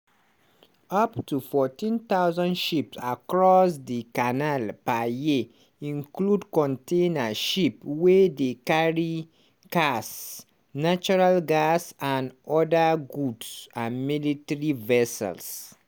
up to 14000 ship across di canal per year includ container ship wey dey carry cars natural gas and oda goods and military vessels.